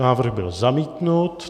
Návrh byl zamítnut.